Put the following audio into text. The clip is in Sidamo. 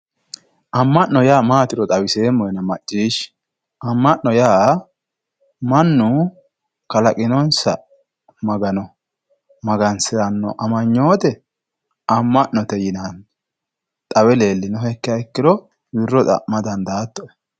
amma'no yaa mayyaatero xawiseemmohena macciishshi amma'no yaa mannu kalaqinonsa magano magansiranno amanyoote amma'note yinanni xawinohekkiha ikkiro wirro xa'ma dandaattoe.